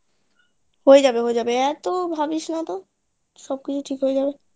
হয়ে যাবে হয়ে এত ভাবিস নাতো সব কিছু ঠিক হয়ে যাবে